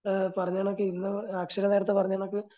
പറഞ്ഞ കണക്ക് ഇന്ന് അക്ഷര നേരത്തെ പറഞ്ഞ കണക്ക്